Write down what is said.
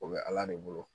O bɛ ala de bolo